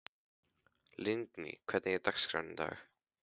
Lingný, hvernig er dagskráin í dag?